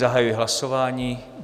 Zahajuji hlasování.